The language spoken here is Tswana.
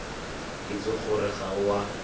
itse gore ga o a